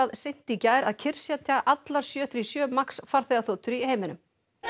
seint í gær að kyrrsetja allar sjö og sjö Max farþegaþotur í heiminum